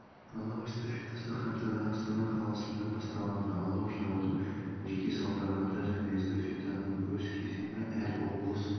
алау эстафетасы қаңтарда астана қаласында басталады алау жағудың жеке салтанаты және эстафетаның өз кезеңі әр облыс